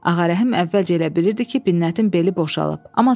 Ağarəhim əvvəlcə elə bilirdi ki, Binnətin beli boşalıb.